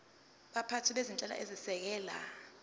baphathi bezinhlelo ezisekela